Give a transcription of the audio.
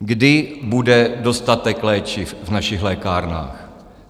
Kdy bude dostatek léčiv v našich lékárnách?